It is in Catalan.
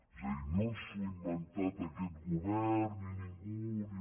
és a dir no s’ho ha inventat aquest govern ni ningú ni